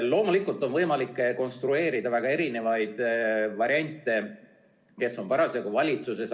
Loomulikult on võimalik konstrueerida väga erinevaid variante, kes on parasjagu valitsuses.